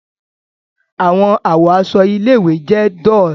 Awọn awọ aṣọ ile-iwe jẹ dull